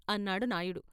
అన్నాడు నాయుడు.